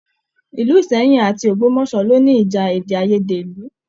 Ilú Ìsẹ́yìn àti Ogbomoso lo ní ìjà èdè aiyèdè ìlú.